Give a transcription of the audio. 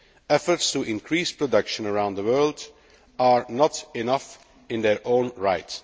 Efforts to achieve production around the world are not enough in their own right.